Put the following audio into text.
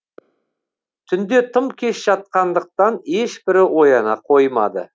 түнде тым кеш жатқандықтан ешбірі ояна қоймады